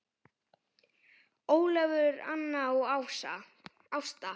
Ólafur, Anna og Ásta.